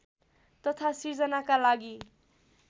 तथा सिर्जनाका लागि